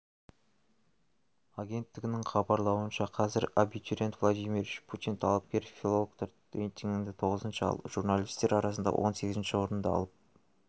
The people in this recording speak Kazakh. агенттігінің хабарлауынша қазір абитуриент владимир путин талапкер-филологтар рейтинігінде тоғызыншы ал журналистер арасында он сегізінші орынды алып